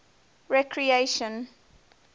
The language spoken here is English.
recreation